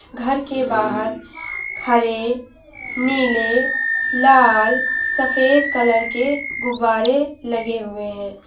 घर के बाहर हरे नीले लाल सफेद कलर के गुब्बारे लगे हुए है।